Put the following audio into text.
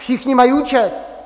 Všichni mají účet!